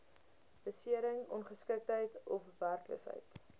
besering ongeskiktheid ofwerkloosheid